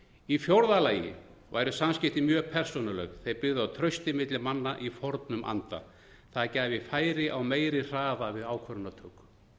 í fjórða lagi væru samskipti mjög persónuleg þau byggðu á trausti milli manna í fornum anda það gæfi færi á meiri hraða við ákvörðunartöku